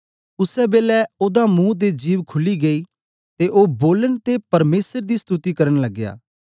उसै बेलै ओदा मुंह ते जिभ खुली गेई ते ओ बोलन ते परमेसर दी स्तुति करन लगया